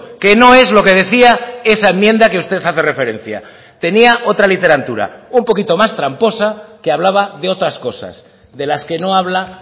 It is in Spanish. que no es lo que decía esa enmienda que usted hace referencia tenía otra literatura un poquito más tramposa que hablaba de otras cosas de las que no habla